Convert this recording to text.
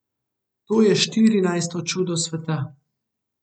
To je štirinajsto čudo sveta.